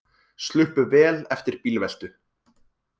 Sluppu vel eftir bílveltu